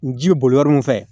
N ji boli yɔrɔ min fɛ